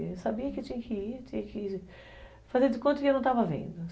Eu sabia que tinha que ir, tinha que fazer de conta que eu não estava vendo.